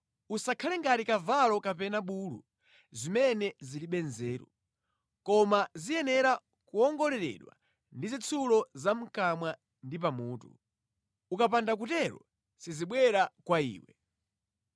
Usakhale ngati kavalo kapena bulu, zimene zilibe nzeru, koma ziyenera kuwongoleredwa ndi zitsulo za mʼkamwa ndi pamutu, ukapanda kutero sizibwera kwa iwe.